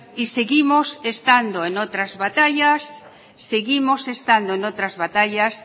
seguimos estando en otras batallas